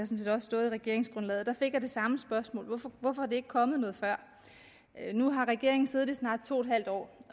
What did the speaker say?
set også stået i regeringsgrundlaget da fik jeg det samme spørgsmål hvorfor er det ikke kommet noget før nu har regeringen siddet i snart to en halv år